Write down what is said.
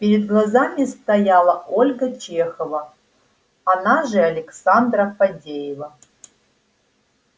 перед глазами стояла ольга чехова она же александра фадеева